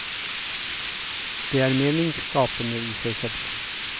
Det er meningsskapende i seg selv.